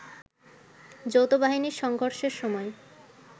যৌথবাহিনীর সংঘর্ষের সময়